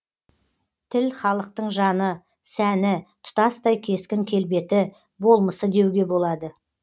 тіл халықтың жаны сәні тұтастай кескін келбеті болмысы деуге болады